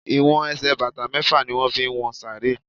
They use six feet to measure graves.